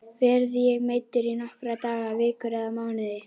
Verð ég meiddur í nokkra daga, vikur eða mánuði?